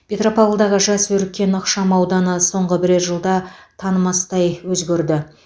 петропавлдағы жас өркен ықшам ауданы соңғы бірер жылда танымастай өзгерді